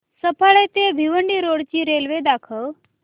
सफाळे ते भिवंडी रोड ची रेल्वे दाखव